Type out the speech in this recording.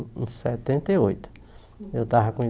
Em setenta e oitou eu estava com